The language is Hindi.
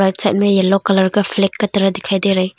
साइड में येलो कलर का फ्लैग का तरह दिखाई दे रहा है।